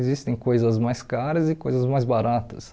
Existem coisas mais caras e coisas mais baratas.